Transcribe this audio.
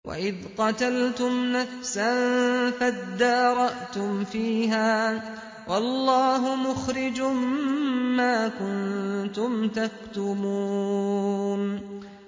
وَإِذْ قَتَلْتُمْ نَفْسًا فَادَّارَأْتُمْ فِيهَا ۖ وَاللَّهُ مُخْرِجٌ مَّا كُنتُمْ تَكْتُمُونَ